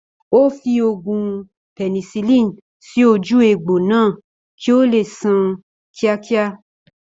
Ó fi oògùn penicilin sì ojú egbò náà kí ó leè san kíákíá